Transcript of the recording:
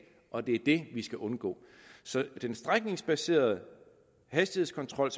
og det er det vi skal undgå den strækningsbaserede hastighedskontrol